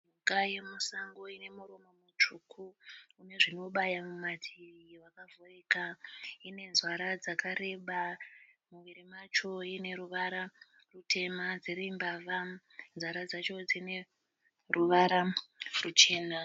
Mhuka yemusango ine muromo mutsvuku, ine zvinobaya mumativi wakavhurikwa ine nzwara dzakareba, muviri macho ine ruvara rutema dziri mbavha, nzara dzacho dzine ruvara ruchena.